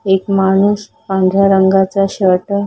एक माणूस पांढऱ्या रंगाचा शर्ट --